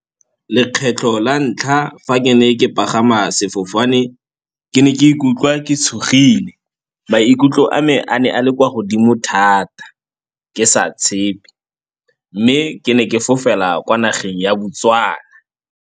Lekgetlho la ntlha fa ke ne ke pagama sefofane ke ne ke ikutlwa ke tshogile, maikutlo a me a ne a le kwa godimo thata ke sa tshepe. Mme ke ne ke fofela kwa nageng ya Botswana.